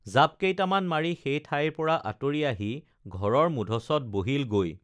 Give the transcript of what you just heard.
জাপ কেইটামান মাৰি সেই ঠাইৰ পৰা আঁতৰি আহি ঘৰৰ মূধচত বহিল গৈ